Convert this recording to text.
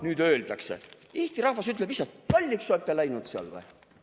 Nüüd eesti rahvas ütleb lihtsalt: "Lolliks olete läinud seal või?